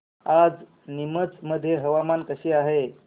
आज नीमच मध्ये हवामान कसे आहे